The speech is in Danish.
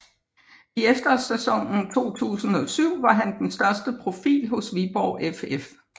I efterårssæsonen 2007 var han den største profil hos Viborg FF